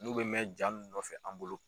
N'u bɛ mɛn jaa mun nɔfɛ an bolo.